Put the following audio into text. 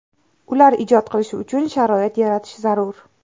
Ular ijod qilishi uchun sharoit yaratish zarur.